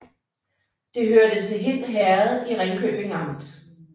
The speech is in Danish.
Det hørte til Hind Herred i Ringkøbing Amt